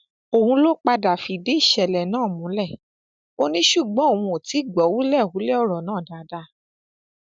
òun ló padà fìdí ìṣẹlẹ náà múlẹ ò ní ṣùgbọn òun ò tí ì gbọ hùlẹbúlẹ ọrọ náà dáadáa